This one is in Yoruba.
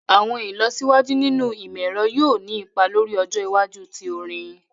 Awọn ilọsiwaju ninu imọ-ẹrọ yoo ni ipa lori ọjọ iwaju ti orin